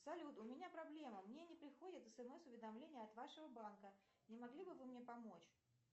салют у меня проблема мне не приходят смс уведомления от вашего банка не могли бы вы мне помочь